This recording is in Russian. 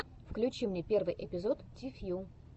включи мне первый эпизод ти фью